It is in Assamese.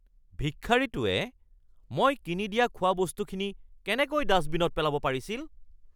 ভিক্ষাৰীটোৱে মই কিনি দিয়া খোৱাবস্তুখিনি কেনেকৈ ডাষ্টবিনত পেলাব পাৰিছিল?